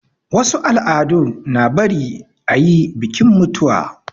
Wasu al'adu na bari ayi bikin mutuwa